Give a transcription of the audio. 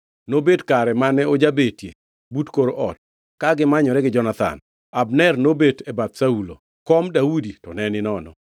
Nobet kare mane ojabetie but kor ot, ka gimanyore gi Jonathan, Abner to nobet bath Saulo, kom Daudi to ne ninono.